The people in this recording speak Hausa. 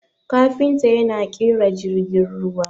kafinta yana kera jirgin ruwa